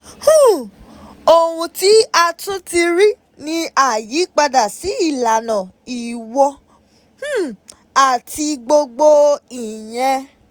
um Ohun tí a tún ti rí ni àyípadà sí ìlànà ìwọ̀ um àti gbogbo ìyẹn.